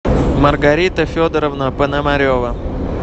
маргарита федоровна пономарева